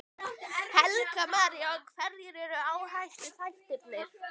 Helga María: Og hverjir eru áhættuþættirnir?